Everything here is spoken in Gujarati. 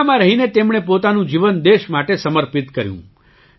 સેનામાં રહીને તેમણે પોતાનું જીવન દેશ માટે સમર્પિત કર્યું